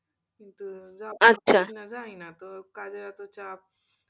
কিন্তু তো কাজের এত চাপ,